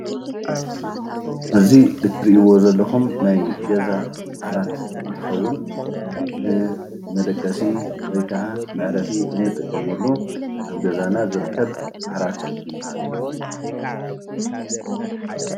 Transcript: እዚ እትርእዎ ዘለኹም ናይ ገዛ ዓራት እንትኸውን ንመደቀሲ፣ ወይ ከዓ መዕረፊ እንጥቀመሉ ኣብ ገዛና ዝርከብ ዓራት ይበሃል።